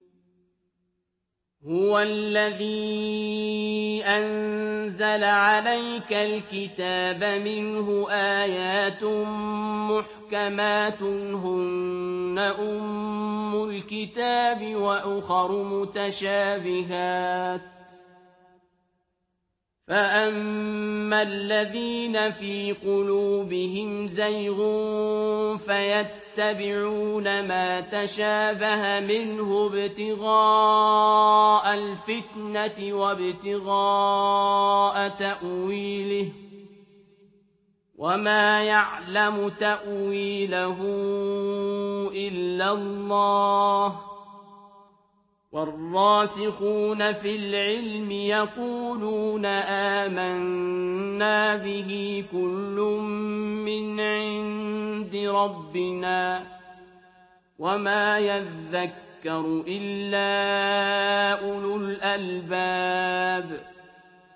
هُوَ الَّذِي أَنزَلَ عَلَيْكَ الْكِتَابَ مِنْهُ آيَاتٌ مُّحْكَمَاتٌ هُنَّ أُمُّ الْكِتَابِ وَأُخَرُ مُتَشَابِهَاتٌ ۖ فَأَمَّا الَّذِينَ فِي قُلُوبِهِمْ زَيْغٌ فَيَتَّبِعُونَ مَا تَشَابَهَ مِنْهُ ابْتِغَاءَ الْفِتْنَةِ وَابْتِغَاءَ تَأْوِيلِهِ ۗ وَمَا يَعْلَمُ تَأْوِيلَهُ إِلَّا اللَّهُ ۗ وَالرَّاسِخُونَ فِي الْعِلْمِ يَقُولُونَ آمَنَّا بِهِ كُلٌّ مِّنْ عِندِ رَبِّنَا ۗ وَمَا يَذَّكَّرُ إِلَّا أُولُو الْأَلْبَابِ